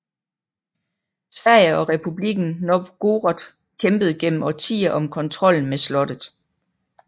Sverige og Republikken Novgorod kæmpede gennem årtier om kontrollen med slottet